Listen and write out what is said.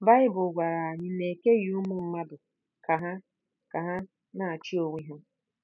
Baịbụl gwara anyị na e keghị ụmụ mmadụ ka ha ka ha na-achị onwe ha.